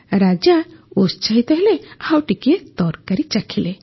ରାଜା ଉତ୍ସାହିତ ହେଲେ ଆଉ ଟିକିଏ ତରକାରୀ ଚାଖିଲେ